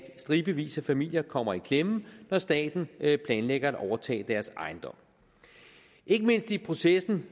stribevis af familier kommer i klemme når staten planlægger at overtage deres ejendom ikke mindst i processen